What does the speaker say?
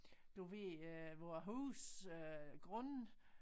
Du øh vor hus øh grunde